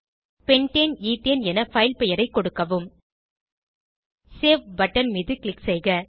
pentane எத்தேன் என file பெயரைக் கொடுக்கவும் சேவ் பட்டன் மீது க்ளிக் செய்க